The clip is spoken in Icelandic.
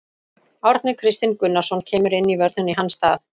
Árni Kristinn Gunnarsson kemur inn í vörnina í hans stað.